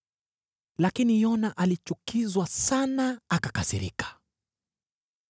Lakini Yona alichukizwa sana akakasirika.